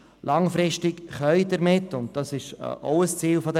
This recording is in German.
Langfristig gesehen können damit ohne Qualitätsverlust Kosten gesenkt werden.